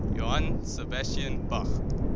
johann sebastian bach